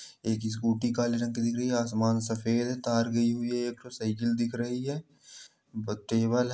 एक स्कूटी काले रंग की दिख रही है आसमान सफेद है तार गई हुई है। एक ठो साइकिल दिख रही है बत्ती वाला --